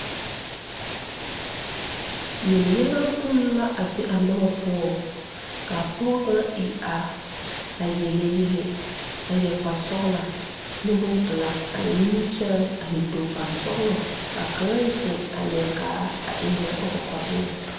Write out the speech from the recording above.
Yeliyaga poŋ la a be a nobɔ poɔŋ kaa pɔɔ pãã iri are a yele yɛlɛ a yɛre kparsɔglaa ne bonpelaa a eŋ nimikyaane a eŋ tookpan sɔglɔ kaa kaŋa zeŋ a leɛ kaara a eŋ lɛɛ o kɔkɔre eŋɛŋ.